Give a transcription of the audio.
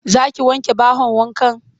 Za ki wanke bahon wankan?